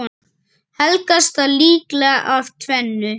Helgast það líklega af tvennu.